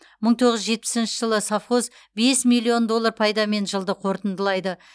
мың тоғыз жүз жетпісінші жылы совхоз бес миллион доллар пайдамен жылды қорытындылайды